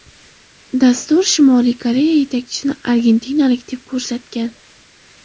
Dastur Shimoliy Koreya yetakchisini argentinalik deb ko‘rsatgan.